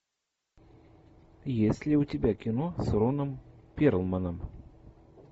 есть ли у тебя кино с роном перлманом